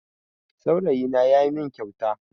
Saurayina ya min kyauta